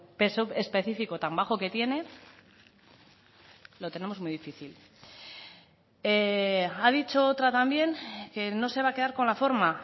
peso específico tan bajo que tiene lo tenemos muy difícil ha dicho otra también que no se va a quedar con la forma